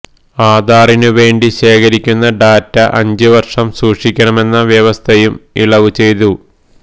ആധാറിന് വേണ്ടി ശേഖരിക്കുന്ന ഡാറ്റ അഞ്ചുവര്ഷം സൂക്ഷിക്കണമെന്ന വ്യവസ്ഥയും ഇളവ് ചെയ്തു